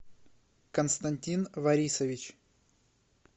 константин борисович